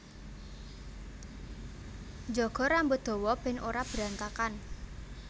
Njaga rambut dawa ben ora berantakan